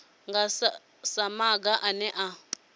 nga sa maga ane a